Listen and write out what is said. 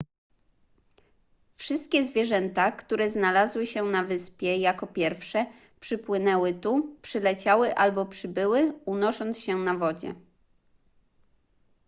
wszystkie zwierzęta które znalazły się na wyspie jako pierwsze przypłynęły tu przyleciały albo przybyły unosząc się na wodzie